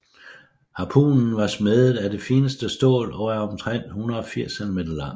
Harpunen var smedet af det fineste stål og er omtrent 180 cm lang